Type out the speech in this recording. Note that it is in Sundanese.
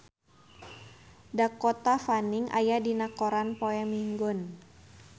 Dakota Fanning aya dina koran poe Minggon